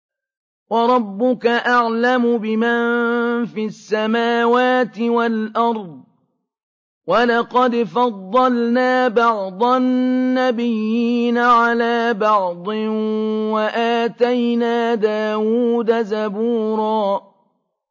وَرَبُّكَ أَعْلَمُ بِمَن فِي السَّمَاوَاتِ وَالْأَرْضِ ۗ وَلَقَدْ فَضَّلْنَا بَعْضَ النَّبِيِّينَ عَلَىٰ بَعْضٍ ۖ وَآتَيْنَا دَاوُودَ زَبُورًا